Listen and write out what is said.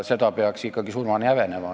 Seda peaks surmani häbenema.